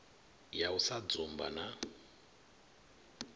ya u sa dzumba na